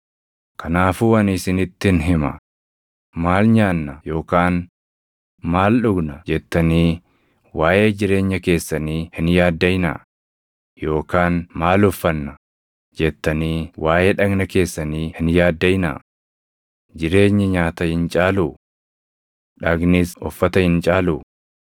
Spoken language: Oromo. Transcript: “Kanaafuu ani isinittin hima; ‘Maal nyaanna yookaan maal dhugna?’ jettanii waaʼee jireenya keessanii hin yaaddaʼinaa; yookaan ‘maal uffanna?’ jettanii waaʼee dhagna keessanii hin yaaddaʼinaa. Jireenyi nyaata hin caaluu? Dhagnis uffata hin caaluu?